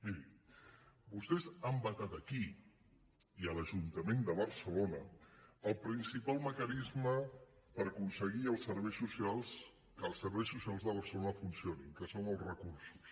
miri vostès han vetat aquí i a l’ajuntament de bar·celona el principal mecanisme per aconseguir que els serveis socials de barcelona funcionin que són els re·cursos